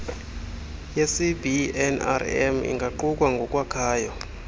yecbnrm ingaqukwa ngokwakhayo